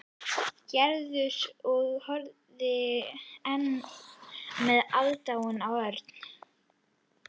Gerður og horfði enn með aðdáun á Örn.